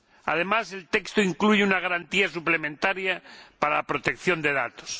Además, el texto incluye una garantía suplementaria para la protección de datos.